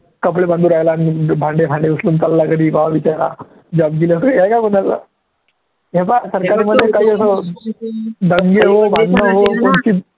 कपडे बांधू राहीला, भांडे भांडे उचलून चालला घरी बाबा बिचारा job गेला कोणी आहे कोणी असं हे पाहा दंगे हो भांडण हो